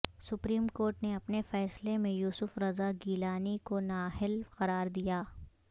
supreme court نے اپنے فیصلے میں یوسف رضا گیلانی کو نااہل قرار دیا